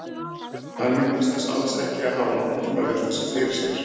Hann minntist þess alls ekki að hafa nokkurntíma velt þessu fyrir sér.